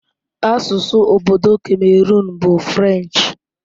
Asụsụ obodo Cameroon bụ French.